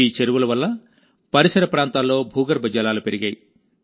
ఈ చెరువుల వల్ల పరిసర ప్రాంతాల్లో భూగర్భ జలాలు పెరిగాయి